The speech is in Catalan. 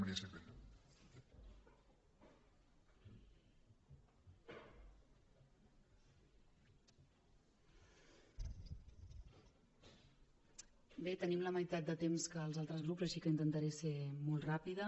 bé tenim la meitat de temps que els altres grups així que intentaré ser molt ràpida